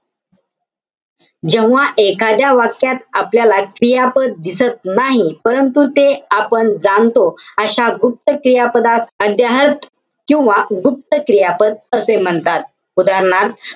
जेव्हा एखाद्या वाक्यात आपल्याला क्रियापद दिसत नाही. परंतु ते आपण जाणतो. अशा गुप्त क्रियापदास अध्याहर्थ किंवा गुप्त क्रियापद असे म्हणतात. उदाहरणार्थ,